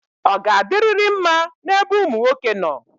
Ọ ga-adirịrị mma n'ebe ụmụ nwoke nọ?